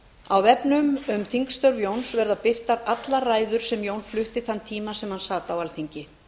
á vefnum um þingstörf jóns verða birtar allar ræður sem jón flutti þann tíma sem hann sat á alþingi